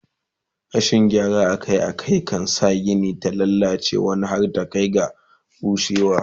Rashin gyara Akai Akai kan sa Gini ta lallace wani har ta Kai ga rushewar ta